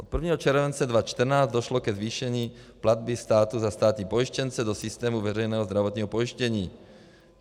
Od 1 července 2014 došlo ke zvýšení platby státu za státní pojištěnce do systému veřejného zdravotního pojištění.